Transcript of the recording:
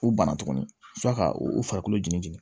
O banna tuguni sɔrɔ ka u farikolo jɛnni jeni